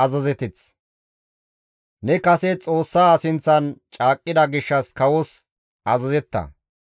Ne kase Xoossaa sinththan caaqqida gishshas kawos azazetta.